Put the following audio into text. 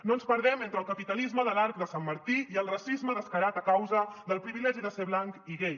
no ens perdem entre el capitalisme de l’arc de sant martí i el racisme descarat a causa del privilegi de ser blanc i gai